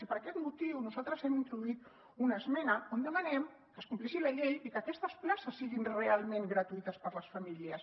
i per aquest motiu nosaltres hem introduït una esmena on demanem que es compleixi la llei i que aquestes places siguin realment gratuïtes per a les famílies